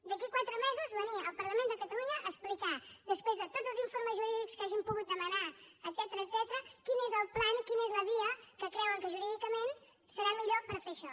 d’aquí a quatre mesos venir al parlament de catalunya a explicar després de tots els informes jurídics que hagin pogut demanar etcètera quin és el pla quina és la via que creuen que jurídicament serà millor per fer això